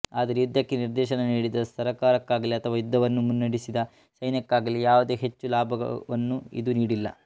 ಆದರೆ ಯುದ್ಧಕ್ಕೆ ನಿರ್ದೇಶನ ನೀಡಿದ ಸರಕಾರಕ್ಕಾಗಲಿ ಅಥವಾ ಯುದ್ಧವನ್ನು ಮುನ್ನೆಡೆಸಿದ ಸೈನಕ್ಕಾಗಲಿ ಯಾವುದೇ ಹೆಚ್ಚು ಲಾಭವನ್ನು ಇದು ನೀಡಿಲ್ಲ